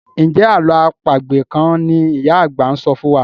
Njé àlọ́ àpagbè kán ní ìyá àgbà sọfún wá?